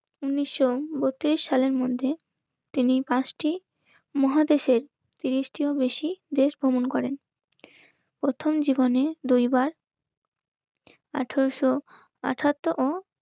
ঊনিশশো বত্রিশ সালের মধ্যে তিনি পাঁচটি মহাদেশের তিরিশটির বেশি দেশ ভ্রমণ করেন. প্রথম জীবনে দুই বার আঠারোশো আঠাত্তর ও